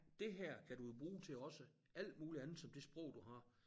Det her kan du jo bruge til også alt muligt andet som det sprog du har